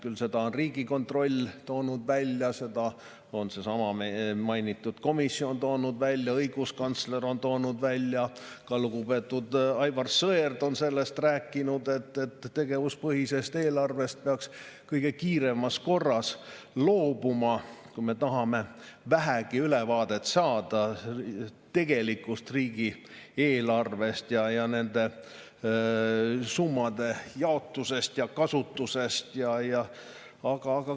Küll seda on Riigikontroll toonud välja, seda on seesama mainitud komisjon toonud välja, õiguskantsler on toonud välja, ka lugupeetud Aivar Sõerd on sellest rääkinud: tegevuspõhisest eelarvest peaks kõige kiiremas korras loobuma, kui me tahame vähegi ülevaadet saada tegelikust riigieelarvest ja selle summade jaotusest ja kasutusest.